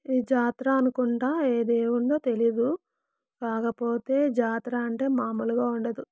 ఇది జాతర అనుకుంటా ఏ దేవుందో తెలియదు కాకపోతే జాతర అంటే మామూలుగా ఉండదు.